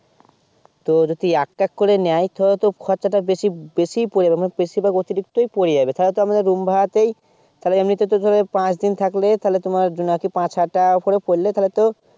তো যদি এক এক করে নেয় তা হলে তো খরচা টা বেশি বেশি পরে গেলো বেশি বা অতিরিক্ত পরে যাবে তাহলে তো আমাদের room ভাড়াতেই তাইলে এমনি তেই ধরে পাচ দিন থাকলে তাইলে তোমার পাচ হাজার টাকা করে পরলে তোমার তাইলে তো